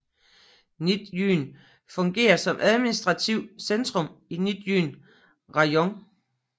Nizjyn fungerer som administrativt centrum i Nizjyn rajon